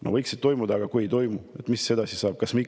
No võiksid toimuda, aga kui ei toimu, mis siis edasi saab?